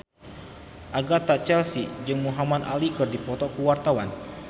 Agatha Chelsea jeung Muhamad Ali keur dipoto ku wartawan